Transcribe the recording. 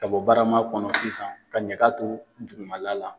Ka bɔ barama kɔnɔ sisan ka ɲaka to dugumala la.